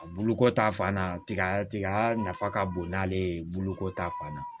A buluko ta fan na tiga tiga nafa ka bon n'ale ye boloko ta fan na